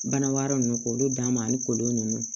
Bana wɛrɛ ninnu k'olu d'a ma ani kolo ninnu